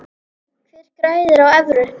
Hver græðir á evru?